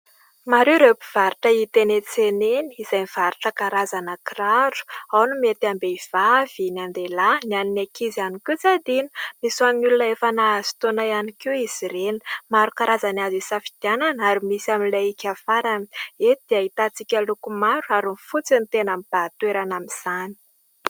Maro ireo mpivarotra hita eny an-tsena eny izay mivarotra karazana kiraro, ao ny mety am-behivavy, ny an-dehilahy, ny an'ny ankizy ihany koa tsy adino. Misy ho an'ny olona efa nahazo taona ihany koa izy ireny. Maro karazana azo isafidianana ary misy amin'ilay hiaka farany. Eto dia ahitantsika loko maro ary ny fotsy no tena hita mibahan-toerana amin'izany.